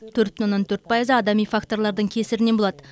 төрт бүтін оннан төрт пайызы адами факторлардың кесірінен болады